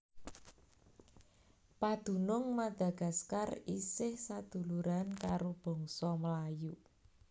Padunung Madagaskar isih saduluran karo bangsa Melayu